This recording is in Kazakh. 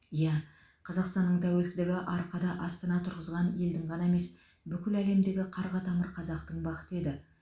иә қазақстанның тәуелсіздігі арқада астана тұрғызған елдің ғана емес бүкіл әлемдегі қарға тамыр қазақтың бақыты еді